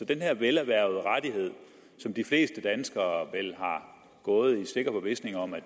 den her velerhvervede rettighed som de fleste danskere vel har gået i sikker forvisning om at